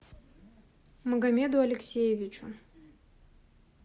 магомеду алексеевичу